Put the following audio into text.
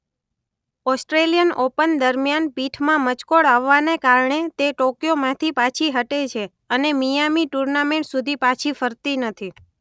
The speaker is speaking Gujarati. ઓસ્ટ્રેલિયન ઓપન દરમ્યાન પીઠમાં મચકોડ આવવાને કારણે તે ટોકયોમાંથી પાછી હટે છે અને મિઆમી ટુર્નામેન્ટ સુધી પાછી ફરતી નથી.